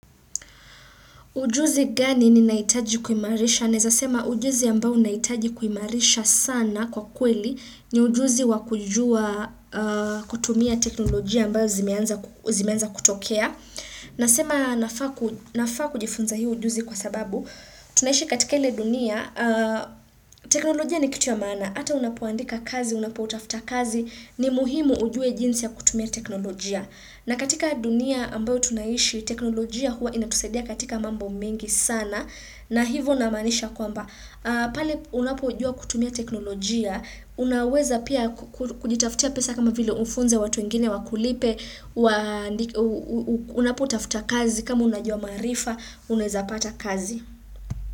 Ujuzi gani ni naitaji kuimarisha? Neza sema ujuzi ambao naitaji kuimarisha sana kwa kweli ni ujuzi wakujua kutumia teknolojia ambao zimeanza kutokea. Nasema nafaa kujifunza hiu ujuzi kwa sababu, tunaishi katika ile dunia, teknolojia ni kitu ya mana. Hata unapuandika kazi, unapuutafta kazi, ni muhimu ujue jinsi ya kutumia teknolojia. Na katika dunia ambayo tunaishi, teknolojia huwa inatusedia katika mambo mingi sana na hivo namanisha kwamba. Pali unapo jua kutumia teknolojia, unaweza pia kujitaftia pesa kama vile unfunze watuengine, wakulipe, unapu utafuta kazi kama unajua marifa, unazapata kazi.